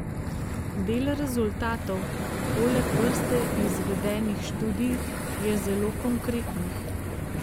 Del rezultatov, poleg vrste izvedenih študij, je zelo konkretnih.